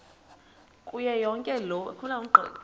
kuyo yonke loo